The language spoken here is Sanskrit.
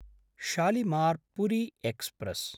शालिमार्–पुरी एक्स्प्रेस्